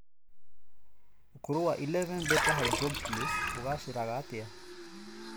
Ũkũrũ wa 11 beta hydroxylase ũgaacagĩra atĩa?